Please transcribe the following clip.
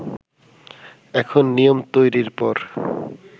এখন নিয়ম তৈরির পর